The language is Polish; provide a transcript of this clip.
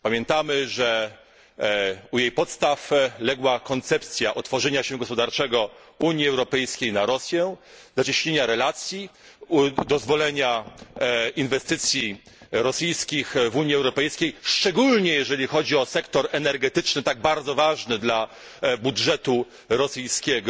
Pamiętamy, że u jej podstaw legła koncepcja otworzenia się gospodarczego Unii Europejskiej na Rosję, zacieśnienia relacji, dozwolenia inwestycji rosyjskich w Unii Europejskiej, szczególnie jeżeli chodzi o sektor energetyczny tak bardzo ważny dla budżetu rosyjskiego.